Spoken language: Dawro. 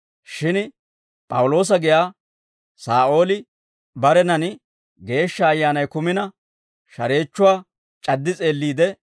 Shin P'awuloosa giyaa Saa'ooli barenan Geeshsha Ayyaanay kumina, shareechchuwaa c'addi s'eelliide,